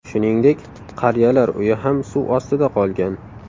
Shuningdek, qariyalar uyi ham suv ostida qolgan.